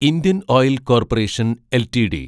Indian oil corporation LTD